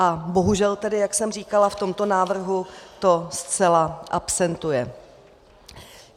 A bohužel tedy, jak jsem říkala, v tomto návrhu to zcela absentuje.